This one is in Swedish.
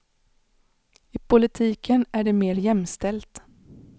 I politiken är det mer jämställt.